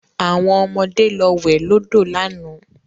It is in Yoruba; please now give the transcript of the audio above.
Àwọn ọmọde lọ wẹ̀ lọ́dọ̀ lánàá